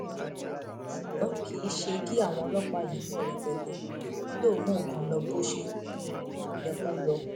um ṣùgbọn kì í ṣe kí àwọn ọlọpàá yìí pọ rẹpẹtẹ ni yóò mú nǹkan lọ bó ṣe um yẹ kó lọ